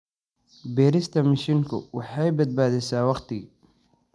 Beerista mishiinku waxay badbaadisaa waqti.